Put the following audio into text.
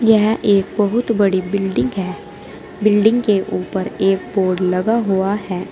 यह एक बहुत बड़ी बिल्डिंग है बिल्डिंग के ऊपर एक बोर्ड लगा हुआ है।